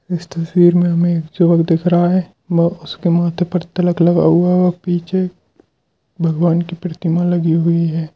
इस तस्वीर में हमें एक युवक दिख रहा है वो-उसके माथे पर तिलक लगा हुआ है पीछे भगवान की प्रतिमा लगी हुई है।